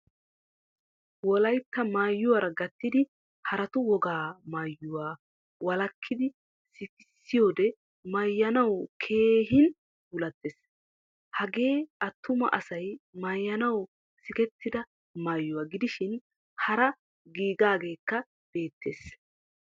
Wolaytta maayuwaara gattidi haraattu wogaa maayyuwaa walakidi sikkisiyode maayanwu keehin puulattees. Hagee attumaa asay maayyanawu sikettida maayyuwaa gidishin hara giigagekka beettees.